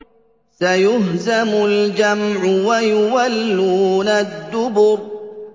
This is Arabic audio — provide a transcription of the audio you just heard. سَيُهْزَمُ الْجَمْعُ وَيُوَلُّونَ الدُّبُرَ